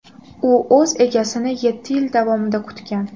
U o‘z egasini yetti yil davomida kutgan.